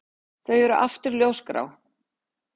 Þau eru aftur ljósgrá.